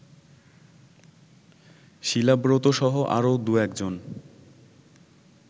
শিলাব্রতসহ আরও দু-একজন